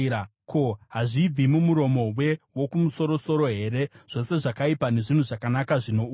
Ko, hazvibvi mumuromo weWokumusoro-soro here zvose zvakaipa nezvinhu zvakanaka zvinouya?